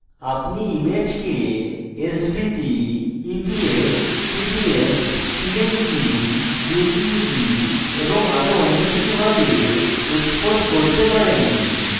আপনি ইমেজকে svg eps pdf png jpeg এবং আরো অন্য কিছু ভাবে export করতে পারেন